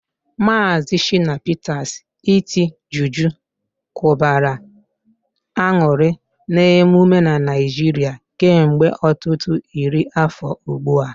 Maazị Shina Peter's iti juju kụbara aṅụrị n'ememe na Naịjirịa kemgbe ọtụtụ iri afọ ugbu a.